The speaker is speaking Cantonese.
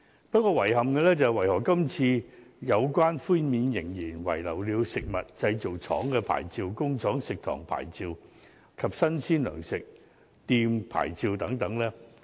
不過，遺憾的是，為何今次有關寬免仍然遺漏了食物製造廠牌照、工廠食堂牌照及新鮮糧食店牌照等呢？